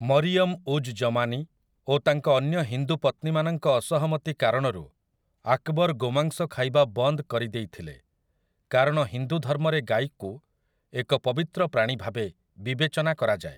ମରିୟମ୍ ଉଜ୍ ଜମାନି ଓ ତାଙ୍କ ଅନ୍ୟ ହିନ୍ଦୁ ପତ୍ନୀ ମାନଙ୍କ ଅସହମତି କାରଣରୁ ଆକ୍‌ବର୍ ଗୋମାଂସ ଖାଇବା ବନ୍ଦ କରିଦେଇଥିଲେ କାରଣ ହିନ୍ଦୁ ଧର୍ମରେ ଗାଈକୁ ଏକ ପବିତ୍ର ପ୍ରାଣୀ ଭାବେ ବିବେଚନା କରାଯାଏ ।